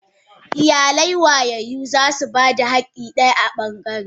Iyalai wayayyu zasu bada hakki daya a bangare.